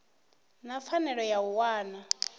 na pfanelo ya u wana